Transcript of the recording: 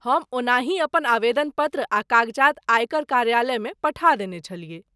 हम ओनाहि अपन आवेदन पत्र आ कागजात आयकर कार्यालयमे पठा देने छलियै।